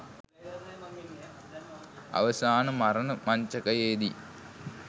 අවසාන මරණ මංචකයේදී